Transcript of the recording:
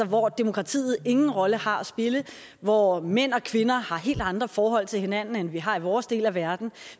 hvor demokratiet ingen rolle har at spille hvor mænd og kvinder har helt andre forhold til hinanden end vi har i vores del af verden